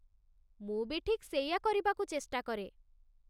ମୁଁ ବି ଠିକ୍ ସେଇଆ କରିବାକୁ ଚେଷ୍ଟା କରେ ।